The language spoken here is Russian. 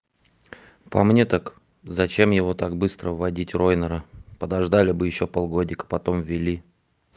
по мне так зачем его так быстро вводить райнера подождали бы ещё полгодика потом ввели